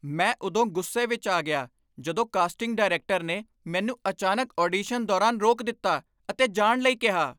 ਮੈਂ ਉਦੋਂ ਗੁੱਸੇ ਵਿੱਚ ਆ ਗਿਆ ਜਦੋਂ ਕਾਸਟਿੰਗ ਡਾਇਰੈਕਟਰ ਨੇ ਮੈਨੂੰ ਅਚਾਨਕ ਆਡੀਸ਼ਨ ਦੌਰਾਨ ਰੋਕ ਦਿੱਤਾ ਅਤੇ ਜਾਣ ਲਈ ਕਿਹਾ।